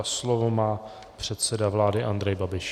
A slovo má předseda vlády Andrej Babiš.